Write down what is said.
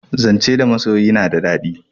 Zance da masoyi na da dadi